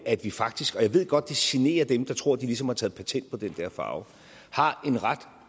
at vi faktisk og jeg ved godt at det generer dem der tror at de ligesom har taget patent på den der farve har en ret